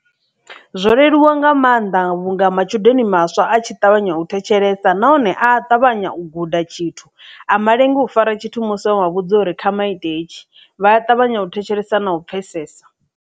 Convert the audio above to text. Zwo leluwa nga maanḓa vhunga matshudeni maswa a tshi ṱavhanya u thetshelesa nahone a ṱavhanya u guda tshithu a malengi u fara tshithu musi wa mavhudza uri kha vha ite hetshi vha a ṱavhanya u thetshelesa na u pfhesesa.